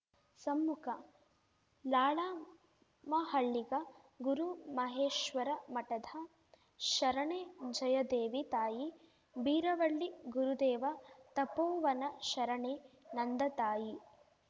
ಸಮ್ಮುಖ ಲಾಳಮಹಳ್ಳಿಗ ಗುರುಮಹೇಶ್ವರಮಠದ ಶರಣೆ ಜಯದೇವಿ ತಾಯಿ ಬೀರವಳ್ಳಿ ಗುರುದೇವ ತಪೋವನ ಶರಣೆ ನಂದ ತಾಯಿ